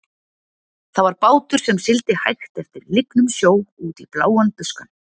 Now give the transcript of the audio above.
Það var bátur sem sigldi hægt eftir lygnum sjó- út í bláan buskann.